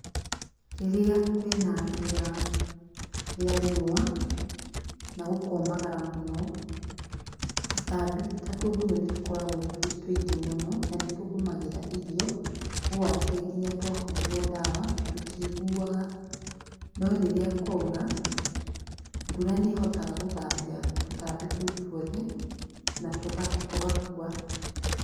Rirĩa kwina rĩera rĩa riũwa na gũkomagara mũno tũtambi ta tũgunyũ nĩtũkoragwo twĩ tũingĩ mũno, na nĩtũgũmagĩra irio ũũ atĩ ona twahũrwo ndawa tũtiiguaga no rĩrĩa kwaura mbura nĩhotaga gũthambia tũtambi tũu tuothe na tũgakua.